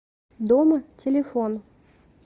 дома телефон